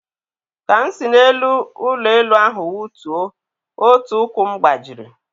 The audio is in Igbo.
Ka m si n'elu ụlọ elu ahụ wụtuo, otu ụkwụ m gbajiri.